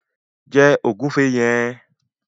Jẹ ògúnfe yẹn!